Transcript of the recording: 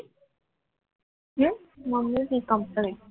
mummy છે complte